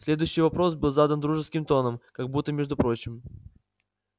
следующий вопрос был задан дружеским тоном как будто между прочим